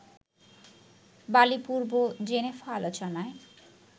বালিপূর্ব Geneva আলোচনায়